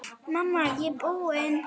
Mamma, ég er búin!